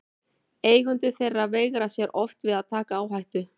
Eigendur þeirra veigra sér oft við að taka áhættu.